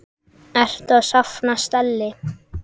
Ertu að safna stelli?